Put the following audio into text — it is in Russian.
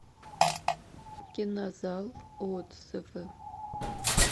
кинозал отзывы